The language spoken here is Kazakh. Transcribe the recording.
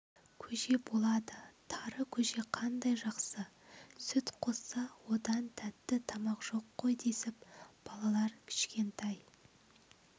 көже болады тары көже қандай жақсы сүт қосса одан тәтті тамақ жоқ қой десіп балалар кішкентай